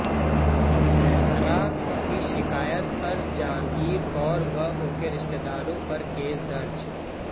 खैहरा की शिकायत पर जागीर कौर व उनके रिश्तेदारों पर केस दर्ज